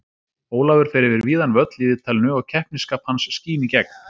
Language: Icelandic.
Ólafur fer yfir víðan völl í viðtalinu og keppnisskap hans skín í gegn.